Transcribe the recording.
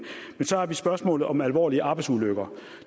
men så har vi spørgsmålet om alvorlige arbejdsulykker